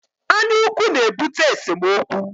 Anyaukwu na-ebute esemookwu